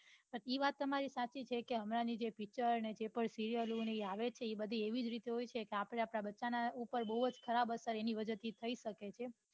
એ વાત તમારી સાચી છે હમણાં ની પીચર કે serial આવે છે એ બઘી એવી રીતે હોય છે કે આપડે આપડા બચ્ચા ઉપર બઉ જ ખરાબ અસર એના વજે થી થઇ સકે છે